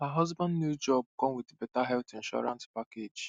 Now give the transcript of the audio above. her husband new job come with better health insurance package